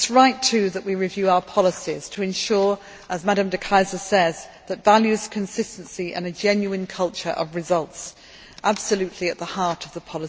It is right, too, that we review our policies to ensure, as Ms de Keyser says, that values, consistency and a genuine culture of results' are absolutely at the heart of them.